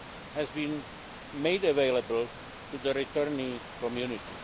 has been made available to the returnee community.